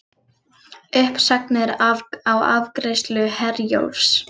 Uppsagnir á afgreiðslu Herjólfs